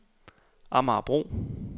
Amagerbro